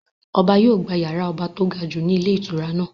Ọba yìí ó gbà yàrá ọba to gajù ni ilé ìtura náà.